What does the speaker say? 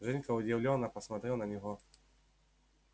женька удивлённо посмотрел на него